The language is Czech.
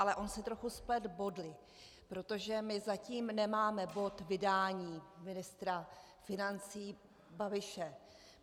Ale on si trochu spletl body, protože my zatím nemáme bod vydání ministra financí Babiše.